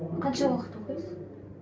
қанша уақыт оқисыз